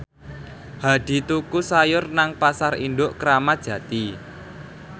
Hadi tuku sayur nang Pasar Induk Kramat Jati